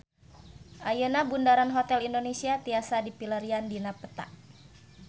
Ayeuna Bundaran Hotel Indonesia tiasa dipilarian dina peta